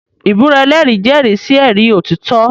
Ìbúra ẹlẹ́rìí jẹ́rìí sí ẹ̀rí òtítọ́.